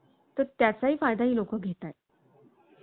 तर त्याचाही फायदा ही लोक घेतायत.